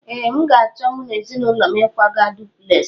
Ee, m ga-acho mu na ezinulo m ịkwaga a dupulesi